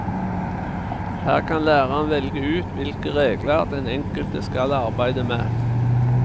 Her kan læreren velge ut hvilke regler den enkelte skal arbeide med.